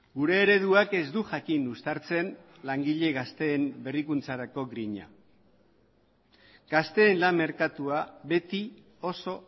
gure ereduak ez du jakin uztartzen langile gazteen berrikuntzarako grina gazteen lan merkatua beti oso